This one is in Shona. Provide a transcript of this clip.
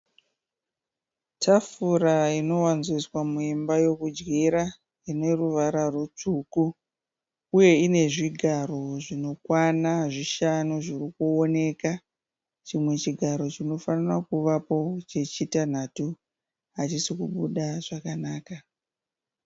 Tafura inowanzoiswa muimba yokudyira ine ruvara rwutsvuku uye ine zvigaro zvinokwana zvishanu zviri kuoneka. Chimwe chigaro chinofarira kuvapo chechitanhatu hachisi kubuda zvakanaka.